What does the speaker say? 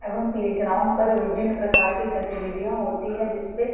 एवं प्लेग्राउंड पर विभिन्न प्रकार के गतिविधियाँ होती है जिससे--